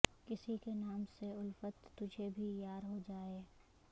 کسی کے نام سے الفت تجھے بھی یار ہوجائے